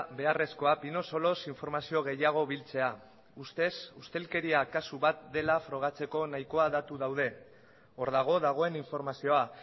beharrezkoa pinosoloz informazio gehiago biltzea ustez ustelkeria kasu bat dela frogatzeko nahikoa datu daude hor dago dagoen informazioa